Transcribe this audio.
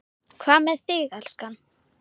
Hvað með þig, elskan.